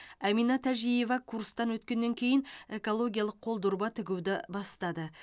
әмина тәжиева курстан өткеннен кейін экологиялық қол дорба тігуді бастады